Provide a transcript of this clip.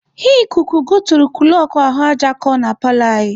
Ikuku goturu kụlọkụ ahụ aja ko na paalọ anyị.